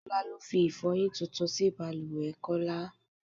Ṣolá ló fi Ifọ́yín tuntun sí bàlùwẹ̀ Kọ́lá.